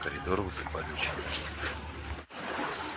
в коридор высыпали ученики